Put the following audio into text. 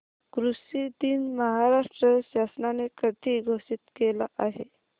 कृषि दिन महाराष्ट्र शासनाने कधी घोषित केला आहे